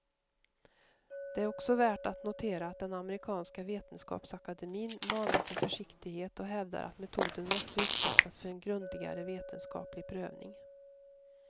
Det är också värt att notera att den amerikanska vetenskapsakademin manar till försiktighet och hävdar att metoden måste utsättas för en grundligare vetenskaplig prövning.